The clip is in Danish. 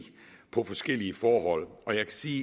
på forskellige forhold og jeg kan sige